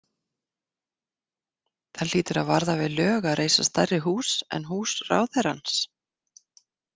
Það hlýtur að varða við lög að reisa stærri hús en hús ráðherrans.